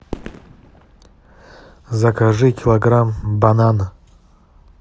закажи килограмм банана